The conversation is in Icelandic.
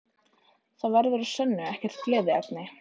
Það verður að sönnu ekkert gleðiefni